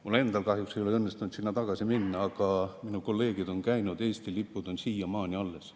Minul endal kahjuks ei ole õnnestunud sinna tagasi minna, aga minu kolleegid on käinud, Eesti lipud on siiamaani alles.